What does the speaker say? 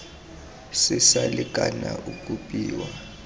se sa lekana o kopiwa